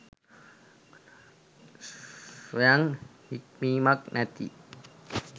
ස්වයං හික්මීමක් නැති